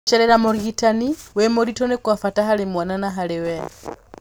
Gũcerera mũrigitani wĩ mũritũ nĩ kwa bata harĩ mwana na harĩ we.